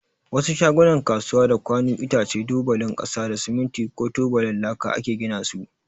Wasu shagunan kasuwa da kwanu, itace, tubalin kasa da siminti ko tubalin laka ake gina su.